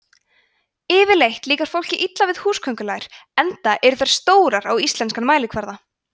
yfirleitt líkar fólki illa við húsaköngulær enda eru þær stórar á íslenskan mælikvarða